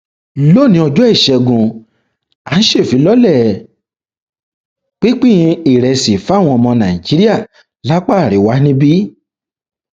lónìí ọjọ ìṣẹgun à ń ṣèfilọlẹ pinpin ìrẹsì fáwọn ọmọ nàìjíríà lápá àríwá níbí